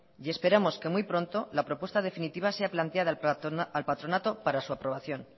y esperamos que muy pronto la propuesta definitiva sea planteada al patronato para su aprobación